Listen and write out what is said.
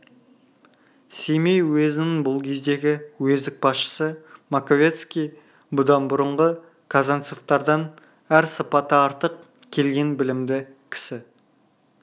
семей уезінің бұл кездегі уездік басшысы маковецкий бұдан бұрынғы казанцевтардан әр сыпаты артық келген білімді кісі